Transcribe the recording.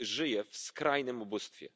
żyje w skrajnym ubóstwie.